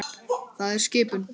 Það er skipun!